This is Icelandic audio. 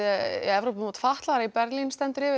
Evrópumót fatlaðra í Berlín stendur yfir